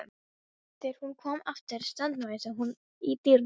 Þegar hún kom aftur staðnæmdist hún í dyrunum.